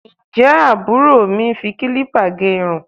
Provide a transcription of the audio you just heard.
Ǹjẹ́ àbúrò mi ń fi kílípà gẹ irun?